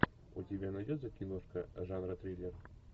у тебя найдется киношка жанра триллер